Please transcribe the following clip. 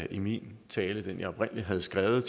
i min tale den jeg oprindelig havde skrevet